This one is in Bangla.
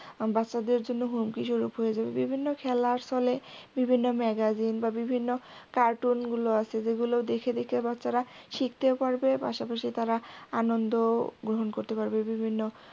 বাচ্চাদের জন্য হুমকি যোজক হয়ে যাবে বিভিন্ন খেলার ছলে বিভিন্ন megazin বা বিভিন্ন cartoon গুলো আছে যেগুলো দেখে দেখে বাচ্চারা শিখতেও পারবে পাশাপাশি তারা আনন্দ গ্রহণ করতে পারবে বিভিন্ন